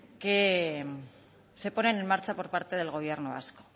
que se ponen en marcha por parte del gobierno vasco